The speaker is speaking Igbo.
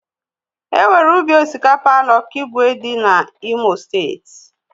Enwere ubi osikapa na okigwe dị na imo steeti.